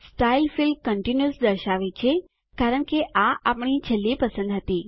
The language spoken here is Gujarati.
સ્ટાઇલ ફીલ્ડ કન્ટિન્યુઅસ દર્શાવે છે કારણ કે આ આપણી છેલ્લી પસંદ હતી